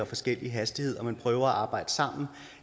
forskellige hastigheder men prøver at arbejde sammen